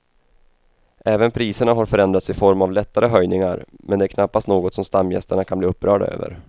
Även priserna har förändrats i form av lättare höjningar men det är knappast något som stamgästerna kan bli upprörda över.